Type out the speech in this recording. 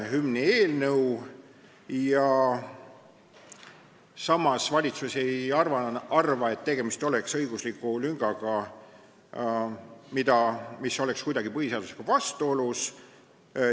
Samas ei arva valitsus, nagu tegemist oleks õigusliku lüngaga, mis oleks kuidagi põhiseadusega vastuolus.